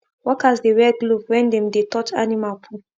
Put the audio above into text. workers dey wear glove when dem dey touch animal poo